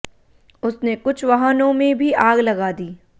उसने कुछ वाहनों में भी आग लगा दी